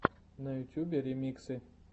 на ютьюбе ремиксы